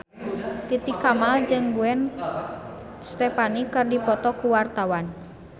Titi Kamal jeung Gwen Stefani keur dipoto ku wartawan